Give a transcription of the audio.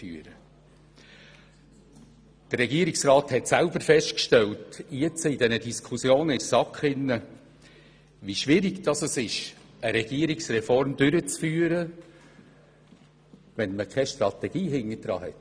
Der Regierungsrat hat in den Diskussionen mit der SAK selber festgestellt, wie schwierig es ist, eine Regierungsreform durchzuführen, wenn dahinter keine Strategie steht.